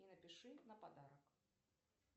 и напиши на подарок